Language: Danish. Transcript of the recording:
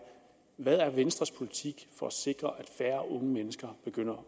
hvad er venstres politik for at sikre at færre unge mennesker begynder